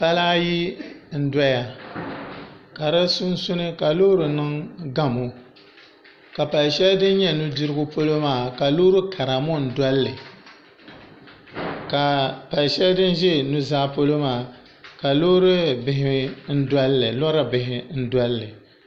Pala ayi n doya ka di sunsuuni ka loori niŋ gamo ka pali shɛli din nyɛ nudirigu polo maa ka loori kara ŋɔ n dolili ka pali shɛli din ʒɛ nuzaa polo maa ka loori bihi n dolli